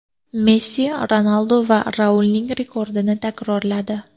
Messi Ronaldu va Raulning rekordini takrorladi.